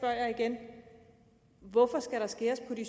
jeg igen hvorfor skal der skæres ned i de